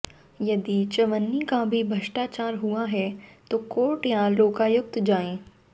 यदि चवन्नी का भी भ्रष्टाचार हुआ है तो कोर्ट या लोकायुक्त जाएं